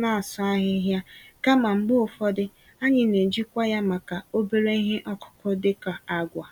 n'asụ ahịhịa, kama mgbe ụfọdụ, anyị n'eji kwa ya màkà obere ihe ọkụkụ dị ka agwa.